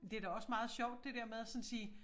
Det da også meget sjovt det der med at sådan at sige